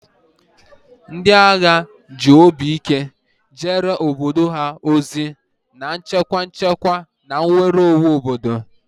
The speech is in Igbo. Ndị agha agha ji obi ike jeere obodo ha ozi, na-echekwa nchekwa na nnwere onwe obodo.